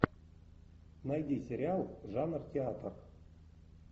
найди сериал жанр театр